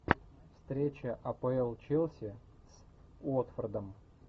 встреча апл челси с уотфордом